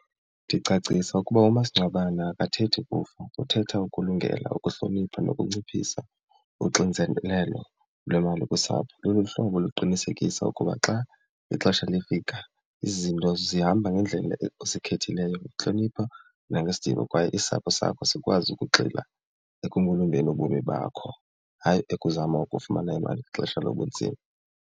Ndicacisa ukuba umasingcwabane akathethi kufa uthetha ukulungela, ukuhlonipha nokunciphisa uxinzelelo lwemali kusapho. Luluhlobo oluqinisekisa ukuba xa ixesha lifika izinto zihamba ngendlela osikhethileyo ukuhlonipha nangesidima kwaye isapho sakho sikwazi ukugxila ubomi bakho hayi ukuzama ukufumana imali ngexesha lobunzima.